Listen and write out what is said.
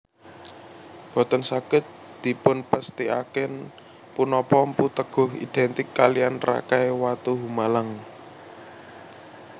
Boten saged dipunpesthikaken punapa Mpu Teguh identik kaliyan Rakai Watuhumalang